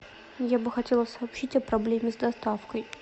я бы хотела сообщить о проблеме с доставкой